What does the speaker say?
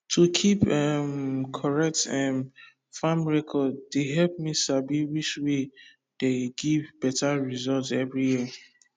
to keep um correct um farm record dey help me sabi which way dey give better result every year